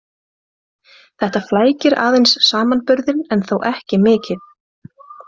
Þetta flækir aðeins samanburðinn en þó ekki mikið.